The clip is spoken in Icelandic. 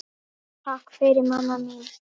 Takk fyrir mamma mín.